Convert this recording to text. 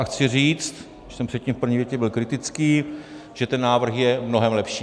A chci říct, když jsem předtím v první větě byl kritický, že ten návrh je mnohem lepší.